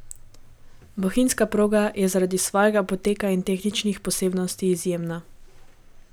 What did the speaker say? Bohinjska proga je zaradi svojega poteka in tehničnih posebnosti izjemna.